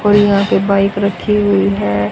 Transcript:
और यहां पे बाइक रखी हुई है।